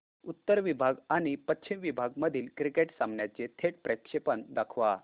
उत्तर विभाग आणि पश्चिम विभाग मधील क्रिकेट सामन्याचे थेट प्रक्षेपण दाखवा